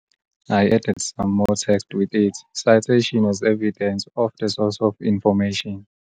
I added some more text with it citation as evidence of the source of information.